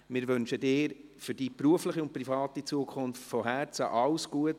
Wir wünschen Ihnen für die berufliche und private Zukunft von Herzen alles Gute.